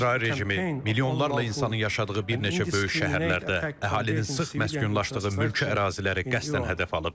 İsrail rejimi milyonlarla insanın yaşadığı bir neçə böyük şəhərlərdə, əhalinin sıx məskunlaşdığı mülki əraziləri qəsdən hədəf alıb.